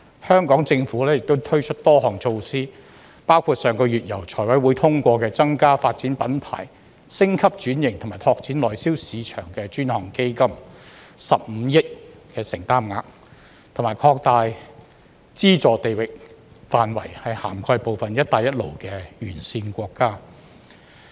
香港政府亦推出多項措施，包括上個月由財務委員會通過的增加"發展品牌、升級轉型及拓展內銷市場的專項基金 "15 億承擔額，並擴大資助地域範圍，涵蓋部分"一帶一路"沿線國家。